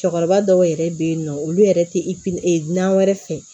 Cɛkɔrɔba dɔw yɛrɛ bɛ yen nɔ olu yɛrɛ tɛ na wɛrɛ fɛ